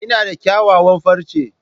Ina da kyawawan farce.